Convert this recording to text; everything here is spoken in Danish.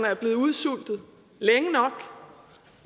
er blevet udsultet længe nok